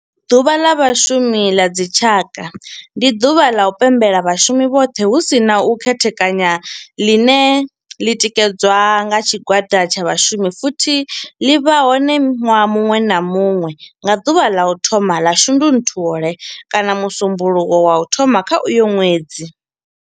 Ḓuvha ḽa vhashumi la dzi tshaka, ndi duvha ḽa u pembela vhashumi vhothe hu si na u khethekanya ḽine ḽi tikedzwa nga tshigwada tsha vhashumi futhi ḽi vha hone nwaha munwe na munwe nga duvha ḽa u thoma 1 ḽa Shundunthule kana musumbulowo wa u thoma kha uyo ṅwedzi.